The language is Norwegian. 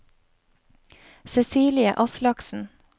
Cecilie Aslaksen